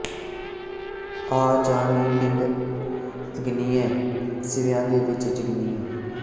ਆ ਜਾ ਨੀ ਬਿੰਦ ਅਗਨੀਏਂ ਸਿਵਿਆਂ ਦੇ ਵਿਚ ਜਗਣੀਏਂ